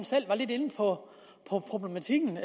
selv var lidt inde på problematikken